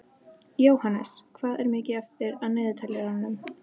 Jóhannes, hvað er mikið eftir af niðurteljaranum?